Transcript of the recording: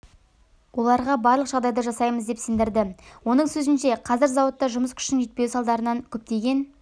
оларға барлық жағдайды жасаймыз деп сендірді оның сөзінше қазір зауытта жұмыс күшінің жетпеуі салдарынан көптеген